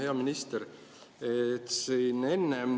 Hea minister!